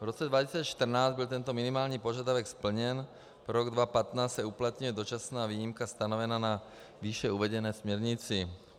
V roce 2014 byl tento minimální požadavek splněn, pro rok 2015 se uplatňuje dočasná výjimka stanovená ve výše uvedené směrnici.